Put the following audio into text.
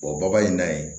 in na ye